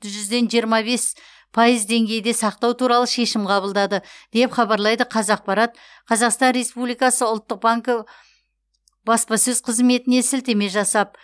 жүзден жиырма бес пайыз деңгейде сақтау туралы шешім қабылдады деп хабарлайды қазақпарат қазақстан республикасы ұлттық банкі баспасөз қызметіне сілтеме жасап